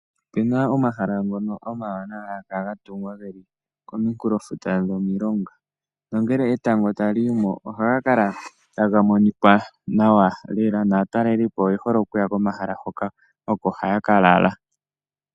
Ope na omahala omawanawa ngono haga kala ga tunga ge li komunkulo gwomulonga. Nongele etango ta li yimo ohaga kala taga monikwa nawa lela naatalelipo oye hole oku ya komahala hoka oko haya ka lala.